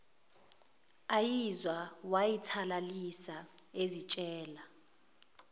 ayizwa wayithalalisa ezitshela